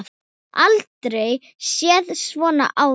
Aldrei séð svona áður.